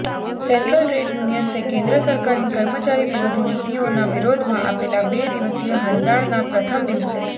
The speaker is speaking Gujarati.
સેન્ટ્રલ ટ્રેડ યુનિયન્સે કેન્દ્ર સરકારની કર્મચારી વિરોધી નીતિઓના વિરોધમાં આપેલા બે દિવસીય હડતાળના પ્રથમ દિવસે